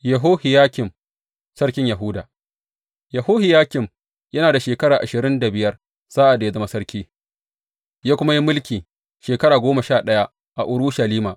Yehohiyakim sarkin Yahuda Yehohiyakim yana da shekara ashirin da biyar sa’ad da ya zama sarki, ya kuma yi mulki shekara goma sha ɗaya a Urushalima.